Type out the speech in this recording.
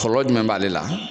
Kɔlɔlɔ jumɛn b'ale la.